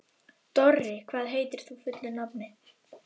Dorri, hvað heitir þú fullu nafni?